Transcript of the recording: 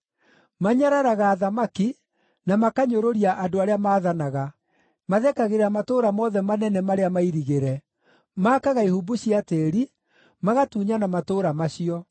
Manyararaga athamaki, na makanyũrũria andũ arĩa maathanaga. Mathekagĩrĩra matũũra mothe manene marĩa mairigĩre; maakaga ihumbu cia tĩĩri, magatunyana matũũra macio.